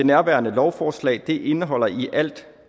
nærværende lovforslag indeholder i alt